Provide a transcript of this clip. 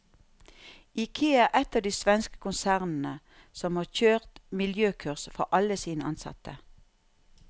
Ikea er ett av de svenske konsernene som har kjørt miljøkurs for alle sine ansatte.